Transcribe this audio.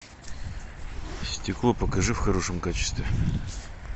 стекло покажи в хорошем качестве